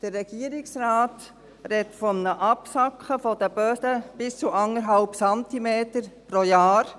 Der Regierungsrat spricht von einem Absacken der Böden von bis zu 1,5 Zentimetern pro Jahr.